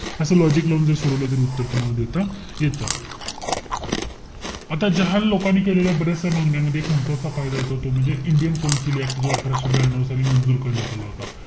असं logic लावून जरी सोडवलं तरी उत्तर तुम्हाला देता येतं. आता जहाल लोकांनी केलेल्या बऱ्याचस्या मागण्यांमध्ये एक महत्वाचा कायदा येतो तो म्हणजे इंडियन कौन्सिल ऍक्ट. जो अठराशे ब्यानयु साली मंजूर करण्यात आला होता.